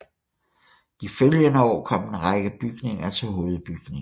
De følgende år kom en række bygninger til hovedbygningen